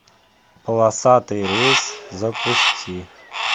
полосатый рейс запусти